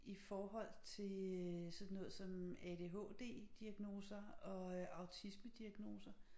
I forhold til øh sådan noget som ADHD diagnoser og øh autismediagnoser